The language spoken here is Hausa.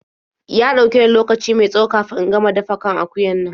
Ya ɗauke ni lokaci mai tsawo kafin in gama dafa kan akuyan nan.